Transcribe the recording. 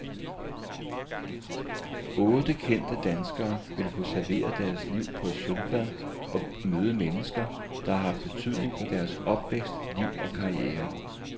Otte kendte danskere vil få serveret deres liv på et sølvfad og møde mennesker, der har haft betydning for deres opvækst, liv og karriere.